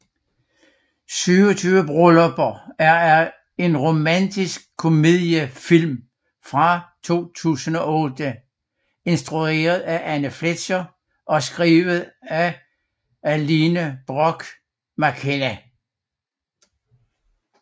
27 Bryllupper er en romantisk komediefilm fra 2008 instrueret af Anne Fletcher og skrevet af Aline Brosh McKenna